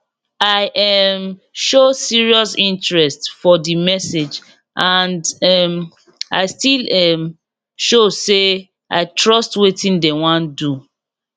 i um show serious interest for the message and um i still um show say i trust wetin dem wan do